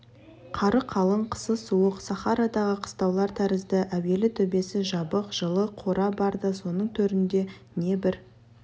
қары қалың қысы суық сахарадағы қыстаулар тәрізді әуелі төбесі жабық жылы қора бар да соның төрінде не бір